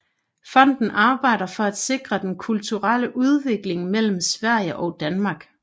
Fonden arbejder for at sikre den kulturelle udveksling mellem Sverige og Danmark